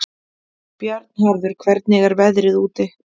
Bjarnharður, hvernig er veðrið úti?